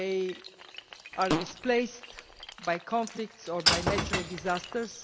They are displaced by conflicts or by natural disasters.